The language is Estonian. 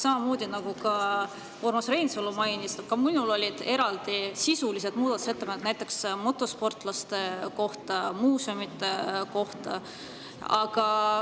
Samamoodi, nagu Urmas Reinsalu mainis, olid ka minul eraldi sisulised muudatusettepanekud, näiteks motosportlaste kohta ja muuseumide kohta.